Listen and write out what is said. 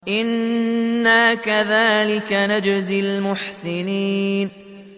إِنَّا كَذَٰلِكَ نَجْزِي الْمُحْسِنِينَ